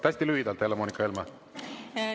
Hästi lühidalt, Helle-Moonika Helme!